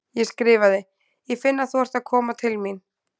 Ég skrifaði: Ég finn að þú ert að koma til mín.